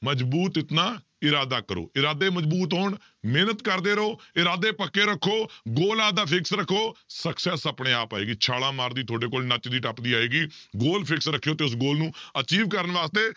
ਮਜ਼ਬੂਤ ਇਤਨਾ ਇਰਾਦਾ ਕਰੋ, ਇਰਾਦੇ ਮਜ਼ਬੁਤ ਹੋਣ ਮਿਹਨਤ ਕਰਦੇ ਰਹੋ, ਇਰਾਦੇ ਪੱਕੇ ਰੱਖੋ goal ਆਪਦਾ fix ਰੱਖੋ success ਆਪਣੇ ਆਪ ਆਏਗੀ, ਛਾਲਾਂ ਮਾਰਦੀ ਤੁਹਾਡੇ ਕੋਲ ਨੱਚਦੀ ਟੱਪਦੀ ਆਏਗੀ goal fix ਰੱਖਿਓ ਤੇ ਉਸ goal ਨੂੰ achieve ਕਰਨ ਵਾਸਤੇ